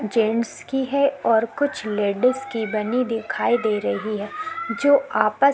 gents की है कुछ लेडिस की दिखाई दे रही है जो आपस--